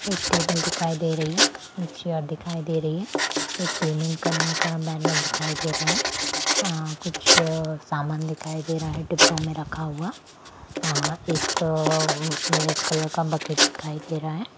एक टेबल दिखाई दे रही है एक चेयर दिखाई दे रही है एक पेमेंट करने का बैनर दिखाई दे रहा है अ कुछ अ सामान दिखाई दे रहा है डिब्बों में रखा हुआ अ एक रेड कलर का बकेट दिखाई दे रहा है।